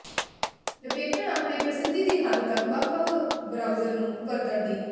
ਲਪੇਟਣ ਆਪਣੇ ਪ੍ਰਸਿੱਧੀ ਦੀ ਹੱਦ ਤੱਕ ਵੱਖ ਵੱਖ ਬਰਾਊਜ਼ਰ ਨੂੰ ਵਰਤਣ ਦੀ